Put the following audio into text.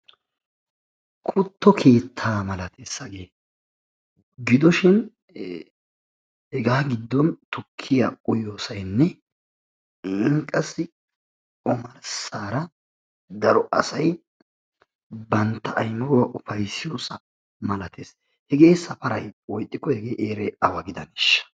Kutto keettaa malates hagee. Gidishin hegaa giddon tukkiya uyiyosaynne qassi omarssaara daro asayi bantta aymiruwa ufayssiyosa malates. Hegee safarayi woykko hegee heerayi awa gidaneeshsha?